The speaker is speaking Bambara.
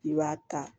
I b'a ta